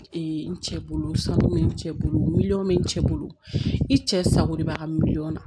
Ee n cɛ bolo sanu bɛ n cɛ bolo miliyɔn bɛ n cɛ bolo i cɛ sago de b'a ka miliyɔn na